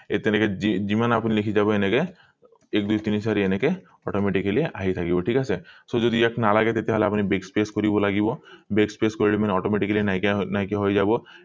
ইয়াত তেনেকে যিমান আপুনি লিখি যাব এনেকে এক দুই তিনি চাৰি এনেকে automatically আহি থাকিব ঠিক আছে so যদি ইয়াত নালাগে তেতিয়া হলে আপুনি backspace কৰিব লাগিব backspace কৰিলে মানে automatically নাইকীয়া নাইকীয়া হৈ যাব